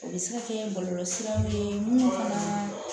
O bɛ se ka kɛ bɔlɔlɔ siraw ye minnu ka